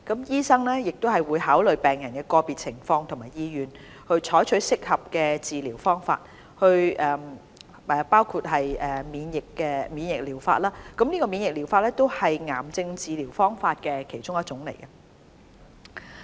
醫生會考慮病人的個別情況和意願，採取適合的治療方法，包括免疫療法，而免疫療法也是癌症治療方法中的一種。